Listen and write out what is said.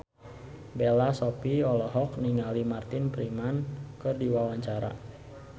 Bella Shofie olohok ningali Martin Freeman keur diwawancara